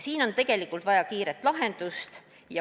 Siin on vaja kiiret lahendust.